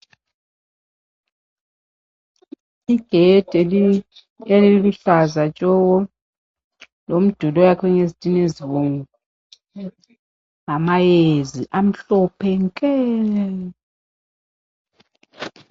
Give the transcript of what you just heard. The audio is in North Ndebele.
Igedi eliluhlaza tshoko, lomduli oyakhwe ngezitina ezibomvu ,lamayezi amhlophe nke.